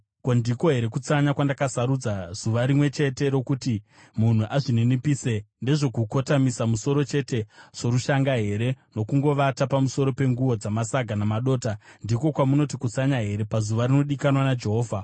Ko, ndiko here kutsanya kwandakasarudza, zuva rimwe chete rokuti munhu azvininipise? Ndezvokukotamisa musoro chete sorushanga here, nokungovata pamusoro penguo dzamasaga namadota? Ndiko kwamunoti kutsanya here, pazuva rinodikanwa naJehovha?